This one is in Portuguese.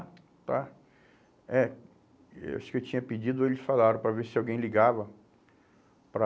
tá. É, eu acho que eu tinha pedido ou eles falaram para ver se alguém ligava para...